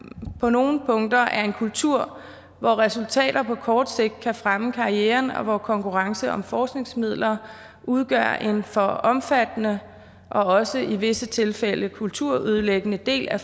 på nogle punkter er en kultur hvor resultater på kort sigt kan fremme karrieren og hvor konkurrence om forskningsmidler udgør en for omfattende og også i visse tilfælde kulturødelæggende del af